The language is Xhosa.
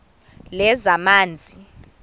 lezamanzi